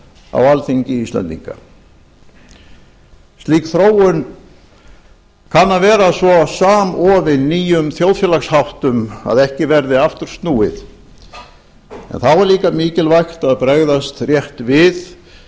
á alþingi íslendinga slík þróun kann að vera svo samofin nýjum þjóðfélagsháttum að ekki verði aftur snúið en þá er líka mikilvægt að bregðast rétt við